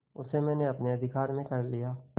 उसे मैंने अपने अधिकार में कर लिया